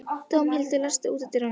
Dómhildur, læstu útidyrunum.